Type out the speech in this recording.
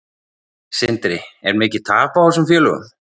Sindri: Er mikið tap á þessum félögum?